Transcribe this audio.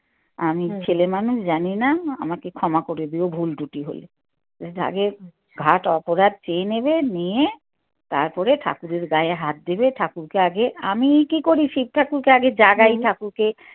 আমি ছেলে মানুষ জানি না আমাকে ক্ষমা করে দিও ভুল ত্রুটি হলে। আগে ঘাট অপরাধ চেয়ে নেবে নিয়ে তারপরে ঠাকুরের গায়ে হাত দেবে ঠাকুরকে আগে আমি কী করি শিব ঠাকুরকে আগে জাগাই ঠাকুরকে